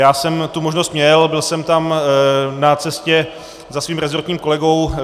Já jsem tu možnost měl, byl jsem tam na cestě za svým rezortním kolegou.